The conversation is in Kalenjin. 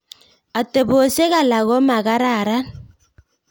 Atebesiok alak komakararan